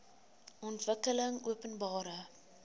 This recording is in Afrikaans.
ontwikkelingopenbare